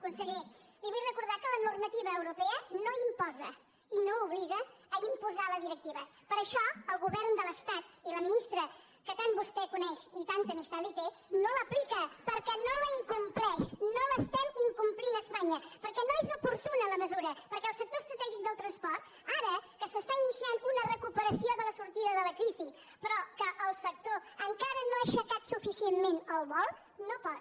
conseller li vull recordar que la normativa europea no imposa i no obliga a imposar la directiva per això el govern de l’estat i la ministra que tant vostè coneix i tanta amistat li té no l’aplica perquè no la incompleix no l’estem incomplint a espanya perquè no és oportuna la mesura perquè el sector estratègic del transport ara que s’està iniciant una recuperació de la sortida de la crisi però que el sector encara no ha aixecat suficientment el vol no pot